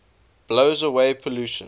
blows away pollution